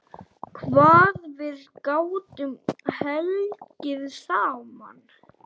Hvað við gátum hlegið saman.